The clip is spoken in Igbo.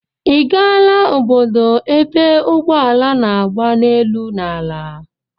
Ị gaala obodo ebe ụgbọala na-agba n'elu na ala?